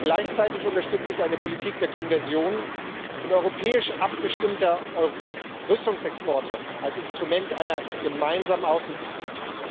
Gleichzeitig unterstütze ich eine Politik der Konversion und europäisch abgestimmter Rüstungsexporte als Instrument einer gemeinsamen Außenpolitik.